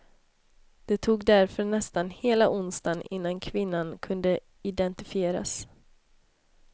Det tog därför nästan hela onsdagen innan kvinnan kunde identifieras.